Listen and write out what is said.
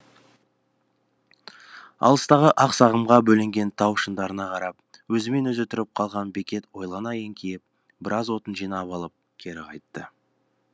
алыстағы ақ сағымға бөленген тау шыңдарына қарап өзімен өзі тұрып қалған бекет ойлана еңкейіп біраз отын жинап алып кері қайтты